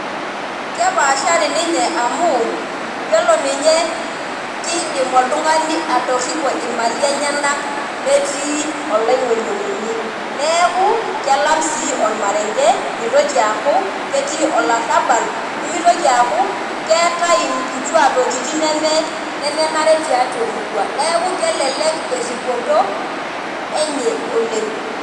Keepashari ninye amu yiolo ninye kidim oltungani atoripo imali enyenak metii oloingunyingunyi neeku kelam sii ormarenke mitoki aaku ketii olarabal nimitoki aaku keetae nkituaa tokitin neme, nemenare tiatua emurua , neeku kelelek eripoto enye oleng.